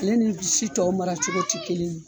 Ale ni si tɔw maracogo tɛ kelen ye .